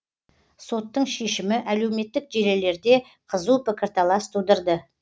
соттың шешімі әлеуметтік желілерде қызу пікірталас тудырды